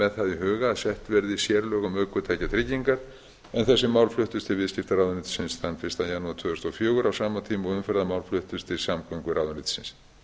í huga að sett verði sérlög um ökutækjatryggingar en þessi mál fluttust til viðskiptaráðuneytisins þann fyrsta janúar tvö þúsund og fjögur á sama tíma og umferðarmál fluttust til samgönguráðuneytisins